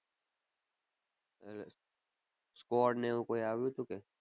એટલે squad ને એવું કોઈ આવ્યું તું કે.